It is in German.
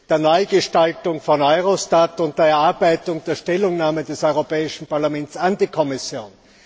der Neugestaltung von Eurostat und der Erarbeitung der Stellungnahme des Europäischen Parlaments an die Kommission.